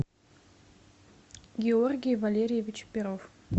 георгий валерьевич перов